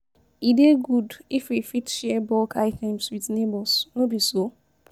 E dey good if we fit share bulk items with neighbors, no be so?